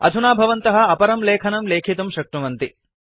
अधुना भवन्तः अपरं लेखनं लेखितुं शक्नुवन्ति